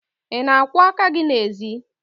Ị na-akwọ aka gị n'ezi?